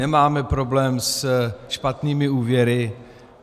Nemáme problém se špatnými úvěry.